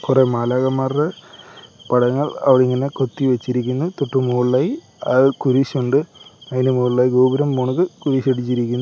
കൊറെ മാലാഖമാർ പടങ്ങൾ അവിടിങ്ങനെ കൊത്തി വച്ചിരിക്കുന്നു തൊട്ട് മുകളിലായി ആ കുരിശുണ്ട് അതിന് മുകളിലായി ഗോപുരം പോണക്ക് കുരിശ് അടിച്ചിരിക്കുന്നു .